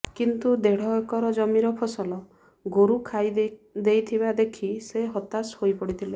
କିନ୍ତୁ ଦେଢ଼ ଏକର ଜମିର ଫସଲ ଗୋରୁ ଖାଇ ଦେଇଥିବା ଦେଖି ସେ ହତାଶ ହୋଇ ପଡ଼ିଥିଲେ